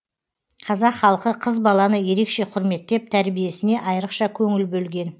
қазақ халқы қыз баланы ерекше құрметтеп тәрбиесіне айрықша көңіл бөлген